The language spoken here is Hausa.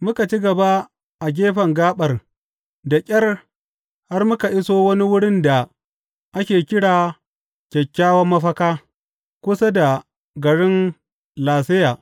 Muka ci gaba a gefen gaɓar da ƙyar har muka iso wani wurin da ake kira Kyakkyawan Mafaka, kusa da garin Laseya.